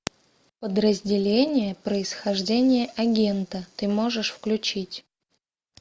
подразделение происхождение агента ты можешь включить